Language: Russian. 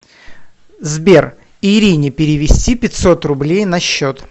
сбер ирине перевести пятьсот рублей на счет